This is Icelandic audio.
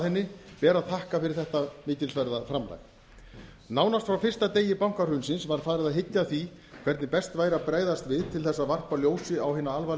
henni ber að þakka fyrir þetta mikilsverða framlag nánast frá fyrsta degi bankahrunsins var farið að hyggja að því hvernig best væri að bregðast við til að varpa ljósi á hina alvarlegu atburði